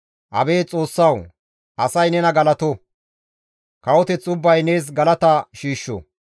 Abeet Xoossawu! Asay nena galato; kawoteth ubbay nees galata shiishsho.